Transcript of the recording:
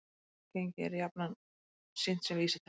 Raungengi er jafnan sýnt sem vísitala